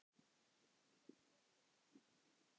Þeir léku einnig vel.